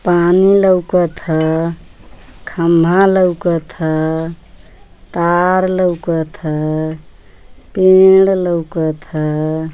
पानी लौकत ह। खंभा लौकत ह। तार लौकत ह। पेड़ लौकत ह।